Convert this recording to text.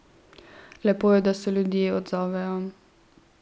Lepo je, da se ljudje odzovejo.